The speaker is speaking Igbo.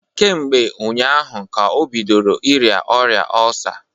Kemgbe ụnyaahụ ka o bidoro ịrịa ọrịa ọlsa